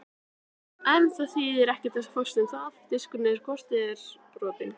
En það þýðir ekkert að fást um það, diskurinn er hvort eð er brotinn.